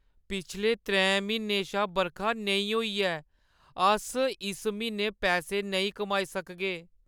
पिछले त्रैं म्हीनें शा बरखा नेईं होई ऐ। अस इस म्हीनै पैसे नेईं कमाई सकगे।